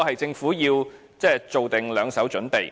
政府要做好兩手準備。